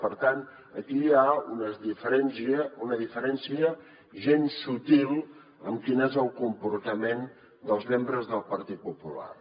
per tant aquí hi ha una diferència gens subtil amb quin és el comportament dels membres del partit popular